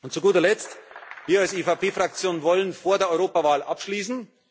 Zu guter Letzt Wir als EVP Fraktion wollen vor der Europawahl abschließen.